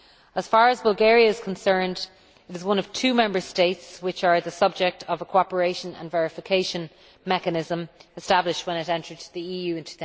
As far as Bulgaria is concerned, it is one of two Member States which are the subject of a cooperation and verification mechanism established when it entered the EU in